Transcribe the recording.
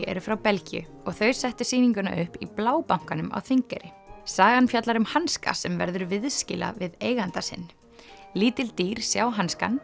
eru frá Belgíu og þau settu sýninguna upp í á Þingeyri sagan fjallar um hanska sem verður viðskila við eiganda sinn lítil dýr sjá hanskann